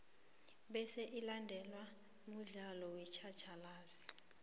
bese ilandelwe mudlalo wetjhatjhalazi